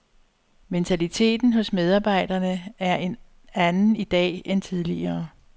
Mentaliteten hos medarbejderne er en anden i dag end tidligere.